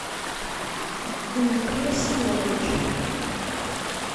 дмитрия семеновича